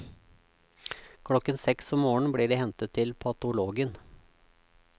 Klokken seks om morgenen blir de hentet til patologen.